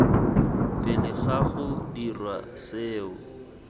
pele ga go dirwa seo